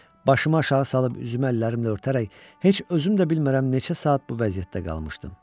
Başımı aşağı salıb üzümü əllərimlə örtərək heç özüm də bilmərəm neçə saat bu vəziyyətdə qalmışdım.